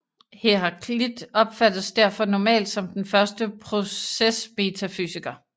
Heraklit opfattes derfor normalt som den første procesmetafysiker